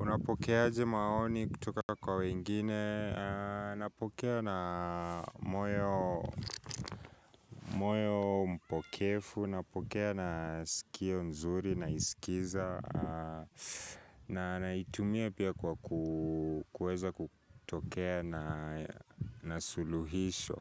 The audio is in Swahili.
Unapokea aje maoni kutoka kwa wengine, napokea na moyo moyo mpokefu, napokea na sikio nzuri naisikiza. Na naitumia pia kwa kuweza kutokea na suluhisho